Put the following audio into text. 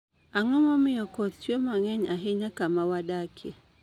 Ang'o momiyo koth chue mang'eny ahinya kama wadakie?